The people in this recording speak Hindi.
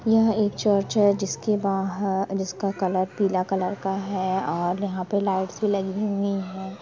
यह एक चर्च है जिसके बाहर जिसका कलर पीला कलर का है और यहाँ पे लाइट्स लगी हुई है।